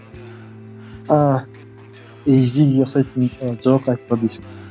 ааа изиге ұқсайтын ы жоқ айтпады ешкім